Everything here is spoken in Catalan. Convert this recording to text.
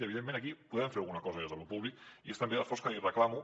i evidentment aquí podem fer alguna cosa des de lo públic i és també l’esforç que li reclamo